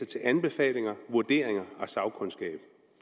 til anbefalinger vurderinger og sagkundskab